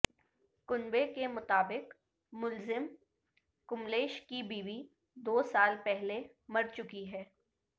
کنبہ کے مطابق ملزم کملیش کی بیوی دو سال پہلے مرچکی ہے